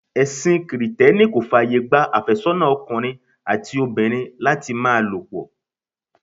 Ẹsin Kirìtẹ́nì kò fàyè gba afésónà ọkùnrin àti obìnrin láti máa lo pọ̀.